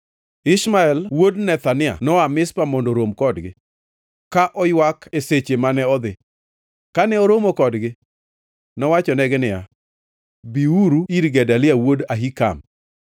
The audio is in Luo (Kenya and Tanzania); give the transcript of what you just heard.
Ishmael wuod Nethania noa Mizpa mondo orom kodgi, ka oywak e sache mane odhi. Kane oromo kodgi, nowachonegi niya, “Biuru ir Gedalia wuod Ahikam.”